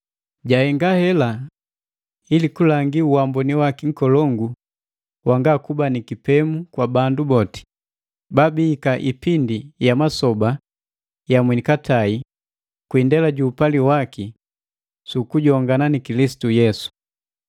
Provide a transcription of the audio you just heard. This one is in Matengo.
Jahenga hela ili kulangi uamboni waki nkolongu wanga kuba ni kipemu kwa bandu boti, babihika ipindi ya masoba ya mwenikatai kwi indela ju upali waki, su kujongana na Kilisitu Yesu.